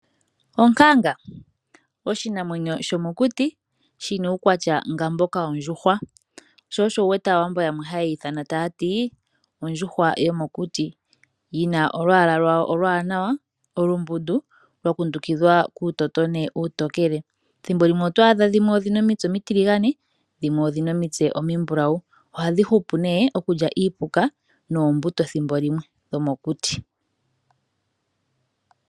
Onkanga oshinamwenyo shomokuti shina uukwatya nga mboka wondjuhwa sho osho wuwete aawambo yamwe haye yiithana taya ti ondjuhwa yomokuti. Yi na olwaala lwayo olwaanawa olumbundu lwa kundukidhwa kuutotona uutokele. Thimbo limwe otwaadha dhimwe odhina omitse omitiligane dho dhimwe odhina omitse omimbulawu .Ohadhi hupu nee mokulya iipuka noombuto thimbo limwe dhiimeno yomokuti.